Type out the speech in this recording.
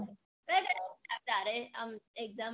તારે આમ exam માટે